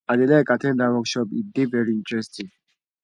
i dey like at ten d dat workshop e dey very interesting